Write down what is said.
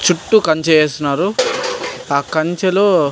చుట్టూ కంచె వేసినారు ఆ కంచె లో --